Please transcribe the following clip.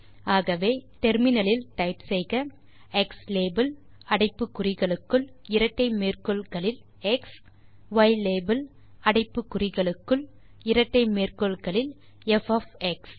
ஆகவே அதற்கு முனையத்தில் டைப் செய்க க்ஸ்லாபெல் அடைப்பு குறிகளுக்குள் இரட்டை மேற்கோள் குறிகளில் எக்ஸ் பின் முனையம் யிலாபெல் அடைப்பு குறிகளுக்குள் இரட்டை மேற்கோள் குறிகளில் ப் ஒஃப் எக்ஸ்